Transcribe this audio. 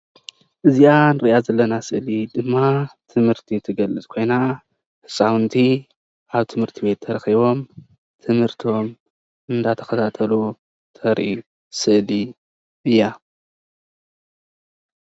እዚኣ አንሪኣ ዘለና ስእሊ ድማ ትምህርቲ ትገልፅ ኮይና ህፃውንቲ ኣብ ትምህርት ቤት ተረኪቦም ትምህርቶም እናተከታተሉ እተርኢ ስእሊ እያ፡፡